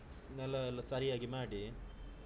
ನೆಲ ಎಲ್ಲ ಸರಿಯಾಗಿ ಮಾಡಿ.